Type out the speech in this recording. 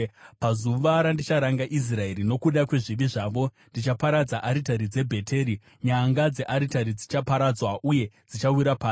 “Pazuva randicharanga Israeri nokuda kwezvivi zvayo, ndichaparadza aritari dzeBheteri; nyanga dzearitari dzichaparadzwa uye dzichawira pasi.